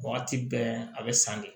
Wagati bɛɛ a bɛ san de